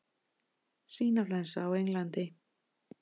Svínaflensa á Englandi